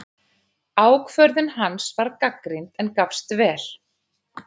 Ákvörðun hans var gagnrýnd, en gafst vel.